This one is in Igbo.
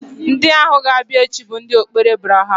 Ndị ahụ ga-abịa echi bụ ndụ okpere Abraham